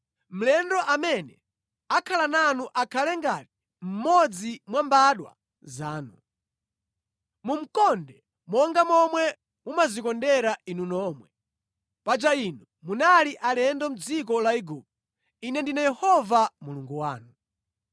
Mlendo amene akhala nanu akhale ngati mmodzi mwa mbadwa zanu. Mumukonde monga momwe mumadzikondera inu nomwe. Paja inu munali alendo mʼdziko la Igupto. Ine ndine Yehova Mulungu wanu.